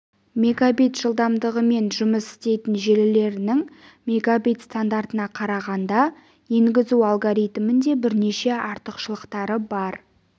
мегабит жылдамдығымен жұмыс істейтін желілерінің мегабит стандартына қарағанда енгізу алгоритмінде бірнеше артықшылықтары бар